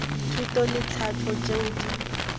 thuto le tlhahlo tšeo di